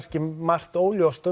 margt óljóst